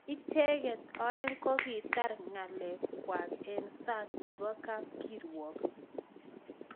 Ichekeet oeng kokitar ngalek kwak eng sang nebo kapkirwok